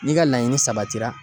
N'i ka laɲini sabatira